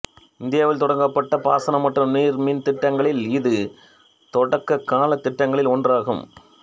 இந்தியாவில் தொடங்கப்பட்ட பாசன மற்றும் நீர் மின் திட்டங்களில் இது தொடக்ககால திட்டங்களில் ஒன்றாகும்